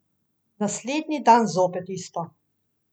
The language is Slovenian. Naslednji dan zopet isto.